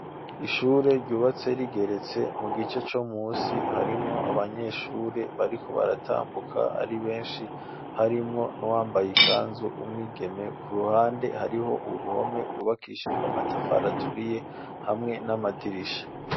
Ishure ryubatse rigeretse, mu gice co musi harimwo Abanyeshuri bariko baratambuka ari benshi ,harimwo n'uwambaye ikanzu, umwigeme ku ruhande ,hariho uruhome gubakishijwe Amatafari aturiye, hamwe n'Amadirisha.